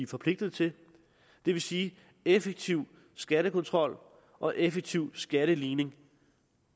forpligtet til det vil sige effektiv skattekontrol og effektiv skatteligning